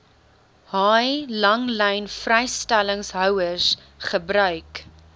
haai langlynvrystellingshouers gebruik